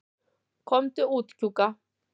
Komdu út, Kjúka.